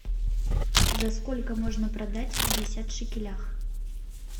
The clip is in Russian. за сколько можно продать пятьдесят шекелях